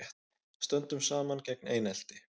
Stöndum saman gegn einelti